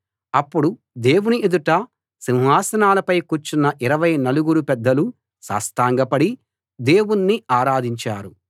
అప్పుడు దేవుని ఎదుట సింహాసనాలపై కూర్చున్న ఇరవై నలుగురు పెద్దలూ సాష్టాంగపడి దేవుణ్ణి ఆరాధించారు